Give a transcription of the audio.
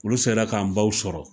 Olu sera k'an baw sɔrɔ